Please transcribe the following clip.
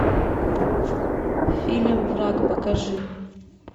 фильм враг покажи